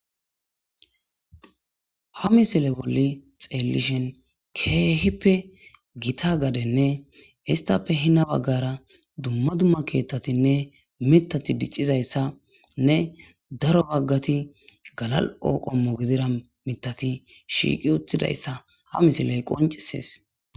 Ha misile bolli xeellishen keehippe githa gadenne histhappe hina baggara dumma dumma keeththathinne miththathi diccizayssanne daro baggathi galal7o qommo gidira miththathi shiiqi uthidayssa ha misiley qonccisees.